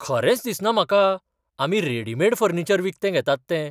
खरेंच दिसना म्हाका आमी रेडिमेड फर्निचर विकतें घेतात तें.